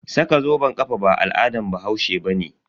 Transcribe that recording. Saka zoben kafa ba al'adan bahaushe bane.